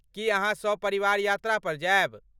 की अहाँ सपरिवार यात्रा पर जायब?